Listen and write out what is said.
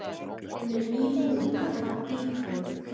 Hún er nýbúin að fá bílpróf.